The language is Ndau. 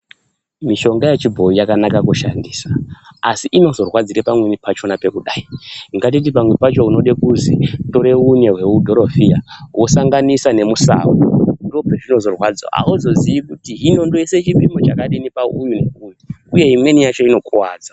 Mushonga yechibhoyi yakanaka kushandisa asi inorwadzira pamweni pachona pekudai, ngatiti pamwe pachona unoda kuzi utore mudhorofiya wosanganisa nemusau ndopazvinozorwadza auzozii kuti Hino ndoisa chipimo chakadini pauyu uye imweni yachona inokuwadza